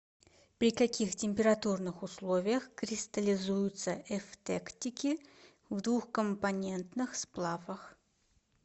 при каких температурных условиях кристаллизуются эвтектики в двухкомпонентных сплавах